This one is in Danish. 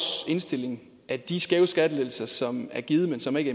indstilling at de skæve skattelettelser som er givet men som ikke